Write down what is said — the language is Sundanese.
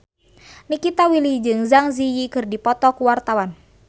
Nikita Willy jeung Zang Zi Yi keur dipoto ku wartawan